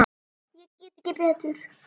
Ég get ekki betur.